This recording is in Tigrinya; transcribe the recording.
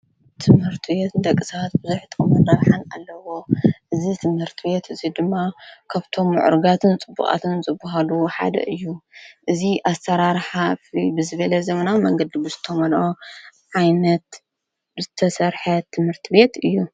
ትምህርትት ተቕሳት ብዙሒጠምናብሓን ኣለዎ እዝ ትምህርቲ ቤት እዙይ ድማ ከብቶም ዕርጋትን ጽቡቓትን ጽቡሃሉ ሓደ እዩ እዝ ኣተራርሓፊ ብዝቤለ ዘምናዊ መንገድ ብዝተምንኦ ዓይነት ተሠርሐት ትምህርቲ ቤት እዩ።